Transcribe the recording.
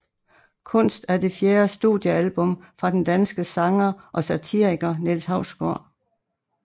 Kunst er det fjerde studiealbum fra den danske sanger og satiriker Niels Hausgaard